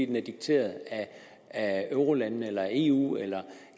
den er dikteret af eurolandene eller af eu eller